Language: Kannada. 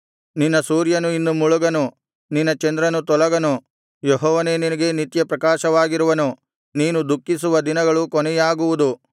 ನಿನ್ನ ಸೂರ್ಯನು ಇನ್ನು ಮುಳುಗನು ನಿನ್ನ ಚಂದ್ರನು ತೊಲಗನು ಯೆಹೋವನೇ ನಿನಗೆ ನಿತ್ಯಪ್ರಕಾಶವಾಗಿರುವನು ನೀನು ದುಃಖಿಸುವ ದಿನಗಳು ಕೊನೆಯಾಗುವುದು